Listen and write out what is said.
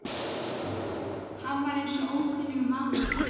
Hann var eins og ókunnugur maður.